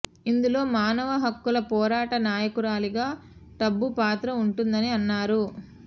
ఇందులో మానవ హక్కుల పోరాట నాయకురాలిగా టబు పాత్ర ఉంటుందని అన్నారు